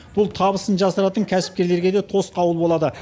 бұл табысын жасыратын кәсіпкерлерге де тосқауыл болады